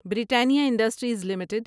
Britannia Industries limited